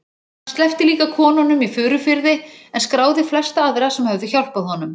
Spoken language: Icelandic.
Hann sleppti líka konunum í Furufirði en skráði flesta aðra sem höfðu hjálpað honum.